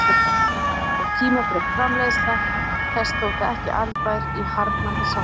Dýr og tímafrek framleiðsla þess þótti ekki arðbær í harðnandi samkeppni.